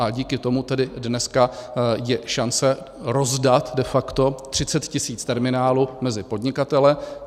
A díky tomu tedy dneska je šance rozdat de facto 30 tisíc terminálů mezi podnikatele.